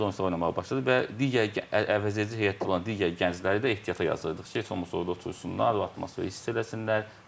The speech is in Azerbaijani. Gənc oyunçular oynamağa başladı və digər əvəzedici heyətdə olan digər gəncləri də ehtiyata yazırdıq ki, heç olmasa orda otursunlar, atmosferi hiss eləsinlər.